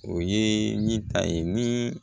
O ye ni ta ye ni